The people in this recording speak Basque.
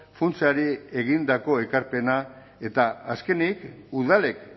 funtsari egindako ekarpena eta azkenik udalek